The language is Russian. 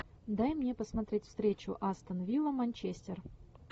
дай мне посмотреть встречу астон вилла манчестер